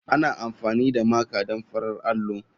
Ana amfani da Maker don farar allo.